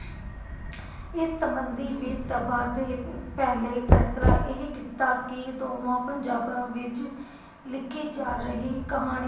ਇਸ ਸੰਬੰਧੀ ਵੀ ਸਭਾ ਦੇ ਪਹਿਲੇ ਫੈਸਲਾ ਇਹ ਕੀਤਾ ਕੀ ਦੋਵਾਂ ਪੰਜਾਬਾਂ ਵਿਚ ਲਿਖੀ ਜਾ ਰਹੀ ਕਹਾਣੀ